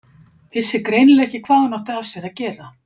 Vissi greinilega ekki hvað hún átti af sér að gera.